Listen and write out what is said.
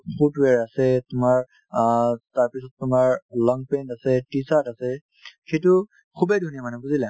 foot wear আছে তোমাৰ অ তাৰপিছত তোমাৰ long pant আছে t-shirt আছে সিটো খুবেই ধুনীয়া মানে বুজিলা